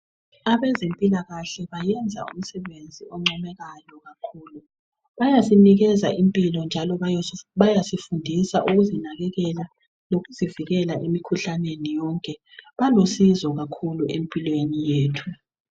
abezempilakahle bayenza umsebenzi oncomekayo kakhulu bayasinikeza impilo njalo bayasifundisa ukuzinakekela lokuzivikela emikhuhlaneni yonke balusizo kakhulu empilweni yethu